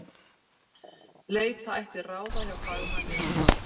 Leita ætti ráða hjá fagmanni um það.